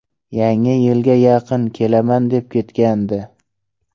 Yangi yilga yaqin kelaman deb ketgandi.